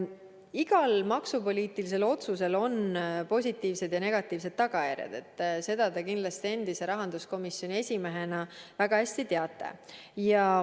Igal maksupoliitilisel otsusel on positiivsed ja negatiivsed tagajärjed, seda te kindlasti endise rahanduskomisjoni esimehena väga hästi teate.